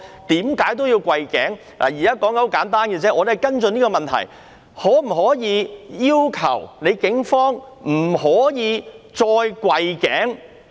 現在的要求很簡單，我們要跟進這個問題：可否要求警方不容許再跪頸？